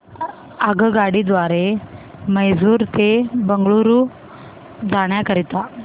आगगाडी द्वारे मैसूर ते बंगळुरू जाण्या करीता